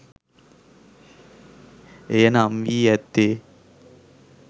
එය නම් වී ඇත්තේ